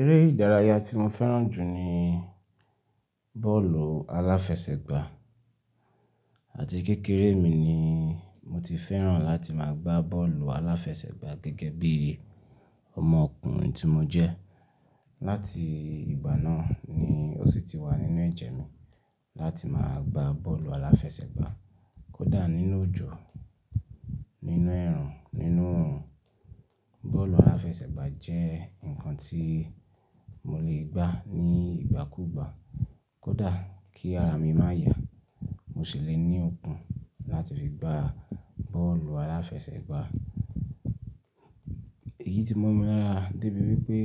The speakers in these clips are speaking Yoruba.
Eré ìdárayá tí mo fẹ́ràn jù ní bọ́ọ̀lù aláfẹsẹ̀gbá àti kékeré mi ni mo ti fẹ́ràn láti máa gbá bọ́ọ̀lù aláfẹsẹ̀gbá gẹ́gẹ́ bí ọmọkùnrin tí mo jẹ́. Láti ìgbà náà ni ó sì ti wà nínú ẹ̀jẹ̀ mi láti máa gbá bọ́ọ̀lù aláfẹsẹ̀gbá. Kódà nínú òjò, nínú ẹrùn, nínú oorun Bọ́ọ̀lù aláfẹsẹ̀gbá jẹ́ nǹkan tí mo lè gbá ní ìgbà kúùgbà. Kódà kí ara mi má ya, mo ṣì lè ní okùn láti fi gbá bọ́ọ̀lù aláfẹsẹ̀gbá. Èyí ti mọ́ mi lára débi wípé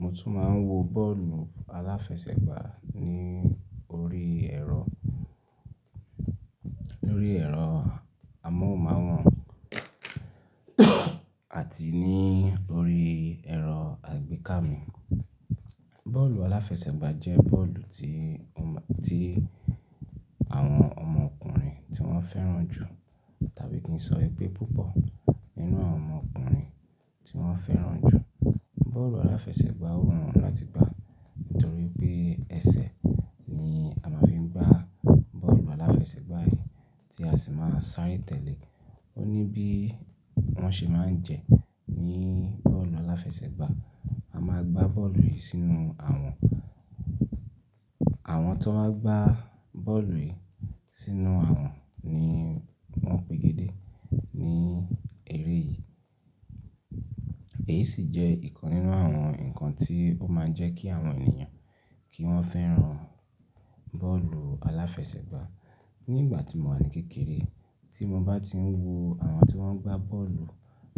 mo tún máa ń wo bọ́ọ̀lù aláfẹsẹ̀gbá ní orí ẹ̀rọ, lórí ẹ̀rọ amóhùnmáwòrán àti ní orí ẹ̀rọ àgbéká mi. Bọ́ọ̀lù aláfẹsẹ̀gbá jẹ́ bọ́ọ̀lù tí omo, tí àwọn ọmọkùnrin tí wọ́n fẹ́ràn jù tàbí kí n sọ ẹ pé púpọ̀ nínú àwọn ọmọkùnrin tí wọ́n fẹ́ràn jù. Bọ́ọ̀lù aláfẹsẹ̀gbá wù wọ́n láti gbá nítorí pé ẹsẹ̀ ni a máa ń fi gbá bọ́ọ̀lù aláfẹsẹ̀gbá yìí tí a sì máa ń sáré tẹ̀lé. Ó ní bí wọ́n ṣe máa ń jẹ ní bọ́ọ̀lù aláfẹsẹ̀gbá, a máa gbá bọ́ọ̀lù yìí sínú àwọ̀n. Àwọn tó bá gbá bọ́ọ̀lù yìí sínú àwọn ni wọ́n pe gédé ní eré yìí. Èyí sì jẹ́ ìkan nínú àwọn nǹkan tí ó máa ń jẹ́ kí àwọn ènìyàn kí wọ́n fẹ́ràn bọ́ọ̀lù aláfẹsẹ̀gbá. Ní ìgbà tí mo wà ní kékeré, tí mo bá ti ń wo àwọn tí wọ́n ń gbá bọ́ọ̀lù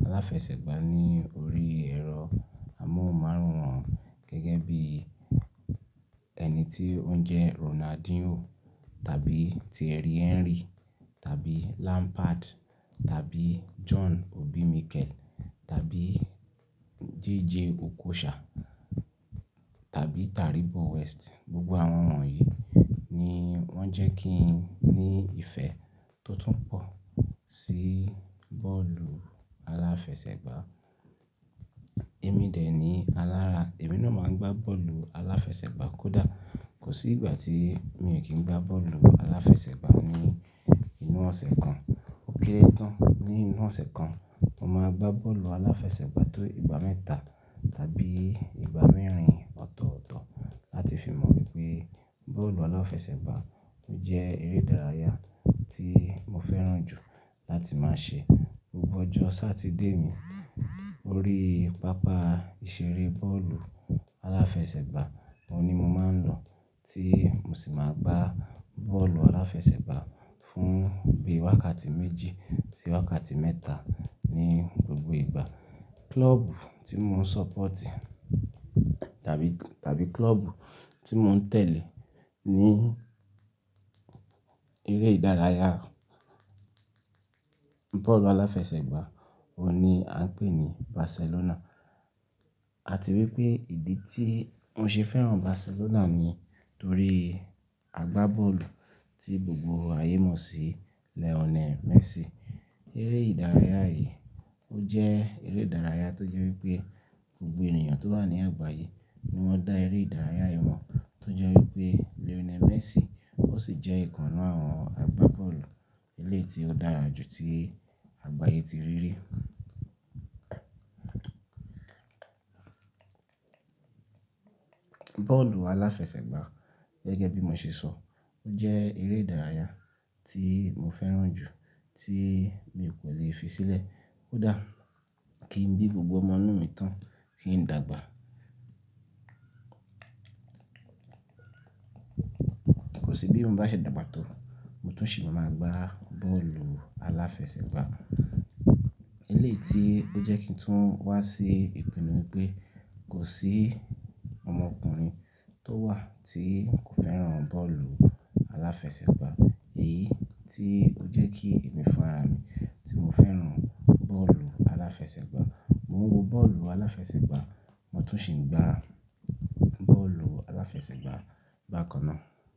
aláfẹsẹ̀gbá ní orí ẹ̀rọ amóhùnmáwòrán gẹ́gẹ́ bí ẹni tí ó ń jẹ́ Ronaldinho tàbí Thierry Henry tàbí Lampard tàbí John Obi Mikel tàbí Jay Jay Okocha tàbí Taribo West. Gbogbo àwọn wọ̀nyí ni wọ́n jẹ́ kí n ní ìfẹ́ tó tún pọ̀ sí bọ́ọ̀lù aláfẹsẹ̀gbá. Èmi dẹ̀ ní alára, èmi náà máa ń gbá bọ́ọ̀lù aláfẹsẹ̀gbá kódà kò sí ìgbà tí mio kì n gbá bọ́ọ̀lù aláfẹsẹ̀gbá ní inú ọ̀sẹ̀ kan. Ó kerẹ́ tán, ní inú ọ̀sẹ̀ kan, mo máa gbá bọ́ọ̀lù aláfẹsẹ̀gbá tó ìgbà mẹ́ta tàbí ìgbà mẹ́rin ọ̀tọ̀ọ̀tọ̀ láti fi mọ̀ wípé bọ́ọ̀lù aláfẹsẹ̀gbá jẹ́ eré ìdárayá tí mo fẹ́ràn jù láti máa ṣe. Gbogbo ọjọ́ Satidé mi, orí pápá ìṣeré bọ́ọ̀lù aláfẹsẹ̀gbá ohun ni mo máa ń lọ tí mo sì máa gbá bọ́ọ̀lù aláfẹsẹ̀gbá fún bí i wákàtí méjì sí wákàtí mẹ́ta ní gbogbo ìgbà. Klọ́ọ̀bù tí mo ń ṣọ́pọ̀otì tàbí, tàbí klọ́ọ̀bù tí mo ń tẹ̀lé ní eré ìdárayá bọ́ọ̀lù aláfẹsẹ̀gbá ohun ni à ń pè ní Barcelona. A ti rí pé ìdí tí mo ṣe fẹ́ràn Barcelona ni nítorí agbá bọ́ọ̀lù tí gbogbo ayé mọ̀ sí, Lionel Messi. Eré ìdárayá yìí ó jẹ́ eré ìdárayá tó jẹ́ wípé gbogbo ènìyàn tó wà ní àgbáyé ni wọ́n dá eré ìdárayá yìí mọ̀ tó jẹ́ wípé Lionel Messi ó sì jẹ́ ìkan ninu àwọn agbá bọ́ọ̀lù eléyi ti ó dára jù tí àgbáyé ti rí rí. Bọ́ọ̀lù aláfẹsẹ̀gbá gẹ́gẹ́ bí mo ṣe sọ ó jẹ́ eré ìdárayá tí mo fẹ́ràn jù tí mi kò leè fi sílẹ̀. Koda kí ń bí gbogbo ọmọ inú mi tán kí ń dàgbà. Kò sí bí n bá ṣe dàgbà tó mo tún ṣì máa ma gbá bọ́ọ̀lù aláfẹsẹ̀gbá. Eléyi ti ó jẹ́ kí n tún wá sí ìpinnu wípé kò sí ọmọkùnrin tó wà tí kò fẹ́ràn bọ́ọ̀lù aláfẹsẹ̀gbá. Èyí tí ó jẹ́ kí èmi fún ara mi tí mo fẹ́ràn bọ́ọ̀lù aláfẹsẹ̀gbá, mo ń wo bọ́ọ̀lù aláfẹsẹ̀gbá, mo tún ṣì ń gbá bọ́ọ̀lù aláfẹsẹ̀gbá bákan náà.